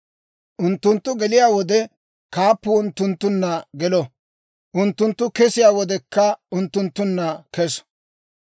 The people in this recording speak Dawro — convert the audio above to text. Unttunttu geliyaa wode, kaappuu unttunttunna gelo; unttunttu kesiyaa wodekka, unttunttunna keso.